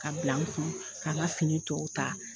Ka bila n kun ka nka fini tɔw ta